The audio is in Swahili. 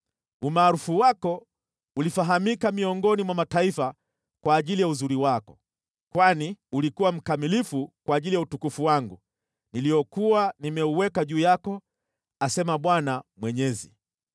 Umaarufu wako ulifahamika miongoni mwa mataifa kwa ajili ya uzuri wako, kwani ulikuwa mkamilifu kwa ajili ya utukufu wangu niliokuwa nimeuweka juu yako, asema Bwana Mwenyezi.